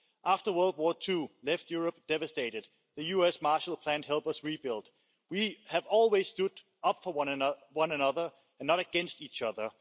After World War II left Europe devastated, the US' Marshall Plan helped us rebuild. We have always stood up for one another and not against each other.